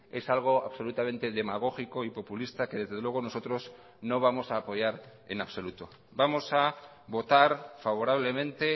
es algo absolutamente demagógico y populista que desde luego nosotros no vamos a apoyar en absoluto vamos a votar favorablemente